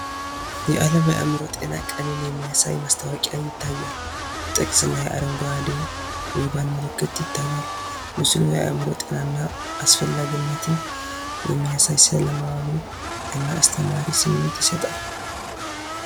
የአለም የአእምሮ ጤና ቀንን የሚያሳይ ማስታወቂያ ይታያል። ጥቅስ እና የአረንጓዴ ሪባን ምልክት ይታያል። ምስሉ የአዕምሮ ጤናን አስፈላጊነት የሚያሳይ ሰላማዊ እና አስተማሪ ስሜት ይሰጣል።